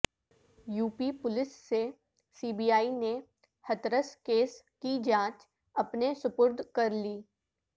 UP police سے C B I نے Hathras case کی جانچ اپنے سپرد کرلی